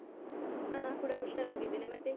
ಹಾ ನಾ ಕೂಡ ಹುಷಾರಾಗಿದ್ದೇನೆ, ಮತ್ತೆ?